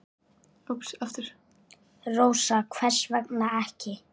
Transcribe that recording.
Rósa: Hvers vegna ekki?